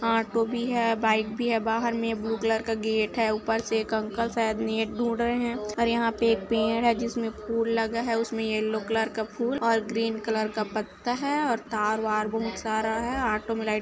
auto भी है bike भी है बाहर में ब्लू कलर गेट है ऊपर से एक अंकल शायद नेट ढूंढ रहे है और यहाँ पे एक पेड़ है जिसमे फूल लगा है उसमे येल्लो कलर का फूल और ग्रीन कलर का पत्ता है और तार वार बहोत सारा है ऑटो में लाइट --